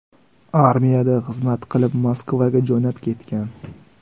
Armiyada xizmat qilib Moskvaga jo‘nab ketgan.